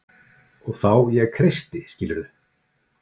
Og þá ég kreisti skilurðu?